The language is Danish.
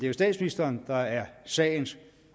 jo statsministeren der er sagens